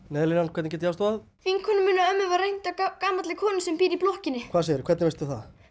Neyðarlínan hvernig get ég aðstoðað vinkonu minni og ömmu var rænt af gamalli komu sem býr í blokkinni hvernig veistu það